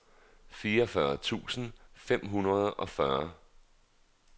fireogfyrre tusind fem hundrede og fyrre